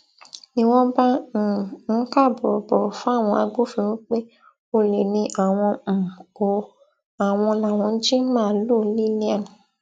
ni wọn bá um ń kà bórobòro fáwọn agbófinró pé olè ni àwọn um o àwọn làwọn jí màálùú lillian